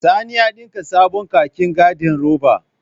Sani ya ɗinka sabon kakin gandiroba